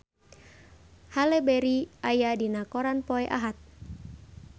Halle Berry aya dina koran poe Ahad